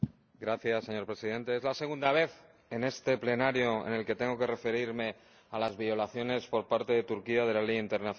Señor Presidente, es la segunda vez en este Pleno en la que tengo que referirme a las violaciones por parte de Turquía de la legislación internacional